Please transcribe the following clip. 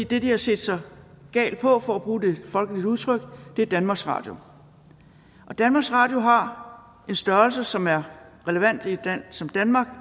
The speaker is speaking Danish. det de har set sig gal på for at bruge et folkeligt udtryk er danmarks radio danmarks radio har en størrelse som er relevant i et land som danmark